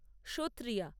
Sattriya